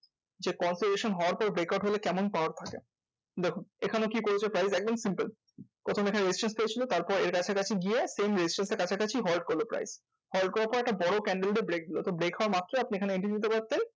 যে হওয়ার পর break out হলে কেমন power পাওয়া যায়? দেখুন এখানে কি করেছে price? একদম simple প্রথম এখানে resistance পেয়েছিলো তারপর এর কাছাকাছি গিয়ে same resistance এর কাছাকাছি halt করলো price halt করার পর একটা বড়ো candle দিয়ে break দিলো। তো break হওয়া মাত্রই আপনি এখানে entry নিতে পারতেন।